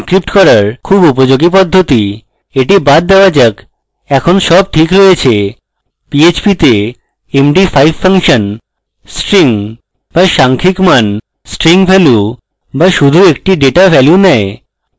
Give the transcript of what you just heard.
এটি বাদ দেওয়া যাক এখন সব ঠিক আছে php তে md5 ফাংশন string বা সাংখ্যিক মান string value বা শুধু একটি ডেটা value নেয়